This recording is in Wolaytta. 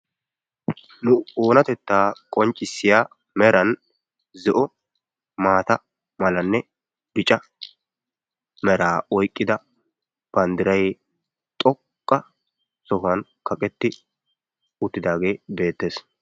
nu oonatetta qonccissiya meran zo'o, maata malanne bicca mera oyqqida banddiray xoqqa sohuwa kaqqetti uttidaage beettees.